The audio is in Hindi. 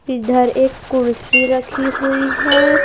इधर एक कुर्सी रखी हुई है।